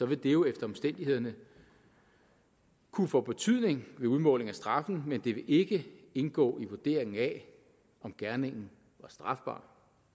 vil det jo efter omstændighederne kunne få betydning ved udmålingen af straffen men det vil ikke indgå i vurderingen af om gerningen var strafbar